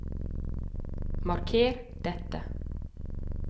Marker dette